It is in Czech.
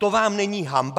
To vám není hanba?